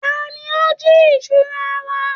Tani ó ń jí ìṣura wa?